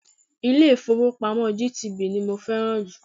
Ilé-ifowopamo GTB ni mo fẹ́ràn jù.